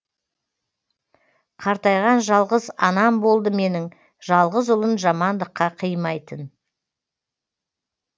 қартайған жалғыз анам болды менің жалғыз ұлын жамандыққа қимайтын